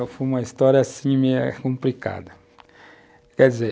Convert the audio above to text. Ah, foi uma história, assim, meio complicada, quer dizer,